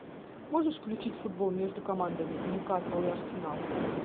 можешь включить футбол между командами ньюкасл и арсенал